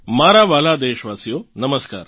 મારા વ્હાલાં દેશવાસીઓ નમસ્કાર